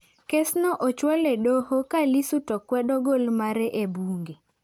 Kesno ochwal e doho ka Lissu too kwedo gol mare e bunge.